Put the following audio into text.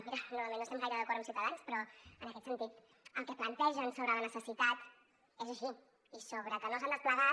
mira normalment no estem gaire d’acord amb ciutadans però en aquest sentit el que plantegen sobre la necessitat és així i sobre que no s’han desplegat